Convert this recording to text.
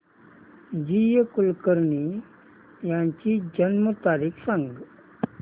जी A Kulkarni यांची जन्म तारीख सांग